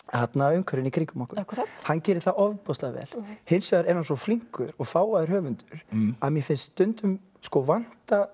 umhverfinu í kringum okkur hann gerir það ofboðslega vel hins vegar er hann svo flinkur og fágaður höfundur að mér finnst stundum vanta